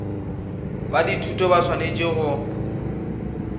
ba dithuto ba swanetše go